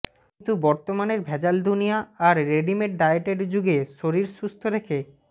কিন্তু বর্তমানের ভেজাল দুনিয়া আর রেডিমেড ডায়েটের যুগে শরীর সুস্থ রেখে